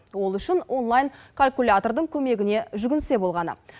ол үшін онлайн калькулятордың көмегіне жүгінсе болғаны